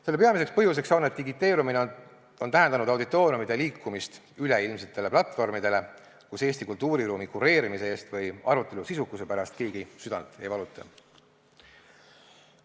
Selle peamiseks põhjuseks on, et digiteerumine on tähendanud auditooriumide liikumist üleilmsetele platvormidele, kus Eesti kultuuriruumi kureerimise või arutelu sisukuse pärast keegi südant ei valuta.